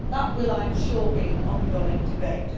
That will, I am sure, be an ongoing debate.